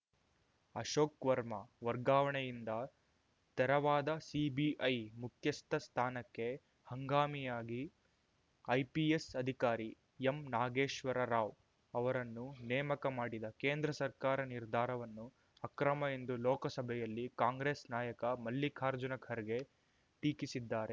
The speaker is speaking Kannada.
ಅಶೋಕ್‌ ವರ್ಮಾ ವರ್ಗಾವಣೆಯಿಂದ ತೆರವಾದ ಸಿಬಿಐ ಮುಖ್ಯಸ್ಥ ಸ್ಥಾನಕ್ಕೆ ಹಂಗಾಮಿಯಾಗಿ ಐಪಿಎಸ್‌ ಅಧಿಕಾರಿ ಎಂ ನಾಗೇಶ್ವರ ರಾವ್‌ ಅವರನ್ನು ನೇಮಕ ಮಾಡಿದ ಕೇಂದ್ರ ಸರ್ಕಾರ ನಿರ್ಧಾರವನ್ನು ಅಕ್ರಮ ಎಂದು ಲೋಕಸಭೆಯಲ್ಲಿ ಕಾಂಗ್ರೆಸ್‌ ನಾಯಕ ಮಲ್ಲಿಕಾರ್ಜುನ ಖರ್ಗೆ ಟೀಕಿಸಿದ್ದಾರೆ